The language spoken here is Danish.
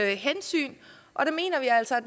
hensyn og vi mener altså at